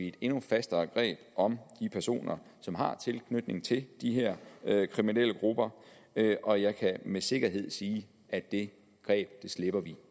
et endnu fastere greb om de personer som har tilknytning til de her kriminelle grupper og jeg kan med sikkerhed sige at det greb slipper vi